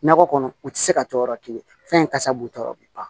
Nakɔ kɔnɔ u tɛ se ka jɔ yɔrɔ kelen fɛnsa b'u tɔɔrɔ bi ban